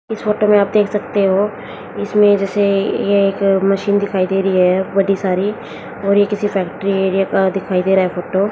इस फोटो में आप देख सकते हो इसमें जैसे ये एक मशीन दिखाई दे रही है बड़ी सारी और ये किसी फैक्ट्री एरिये का दिखाई दे रहा है फोटो ।